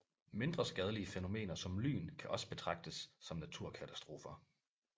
Mindre skadelige fænomener som lyn kan også betragtes som naturkatastrofer